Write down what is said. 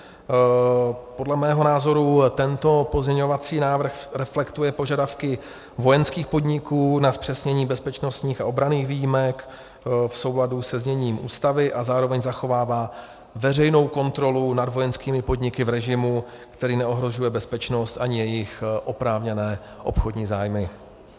Podle mého názoru tento pozměňovací návrh reflektuje požadavky vojenských podniků na zpřesnění bezpečnostních a obraných výjimek v souladu se zněním Ústavy a zároveň zachovává veřejnou kontrolu nad vojenskými podniky v režimu, který neohrožuje bezpečnost ani jejich oprávněné obchodní zájmy.